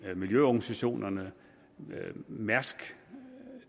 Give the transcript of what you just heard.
det miljøorganisationerne mærsk